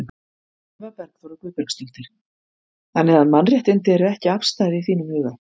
Eva Bergþóra Guðbergsdóttir: Þannig að mannréttindi eru ekki afstæð í þínum huga?